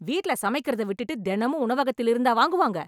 வீட்ல சமைக்கிறத விட்டுட்டு, தெனமும் உணவகத்தில் இருந்தா வாங்குவாங்க ?